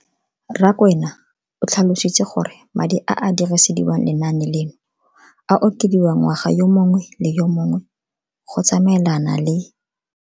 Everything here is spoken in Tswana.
Rakwena o tlhalositse gore madi a a dirisediwang lenaane leno a okediwa ngwaga yo mongwe le yo mongwe go tsamaelana le.